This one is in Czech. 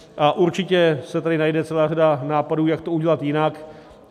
A určitě se tady najde celá řada nápadů, jak to udělat jinak.